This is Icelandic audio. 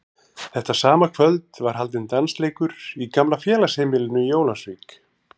Þetta sama kvöld var haldinn dansleikur í gamla félagsheimilinu í Ólafsvík.